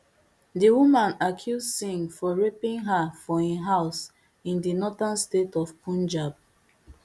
di woman accuse singh of raping her for im home in di northern state of punjab